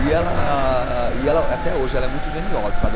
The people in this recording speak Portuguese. E ela e ela, até hoje, ela é muito geniosa, sabe?